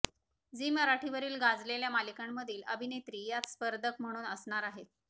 Zee मराठीवरील गाजलेल्या मालिकांमधील अभिनेत्री यात स्पर्धक म्हणून असणार आहेत